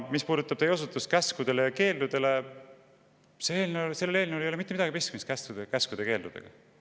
Mis puudutab teie osutust käskudele ja keeldudele, siis sellel eelnõul ei ole mitte midagi pistmist käskude ja keeldudega.